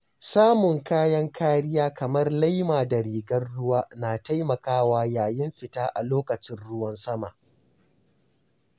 Samun kayan kariya kamar laima da rigar ruwa na taimakawa yayin fita a lokacin ruwan sama.